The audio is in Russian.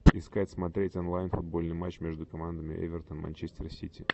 искать смотреть онлайн футбольный матч между командами эвертон и манчестер сити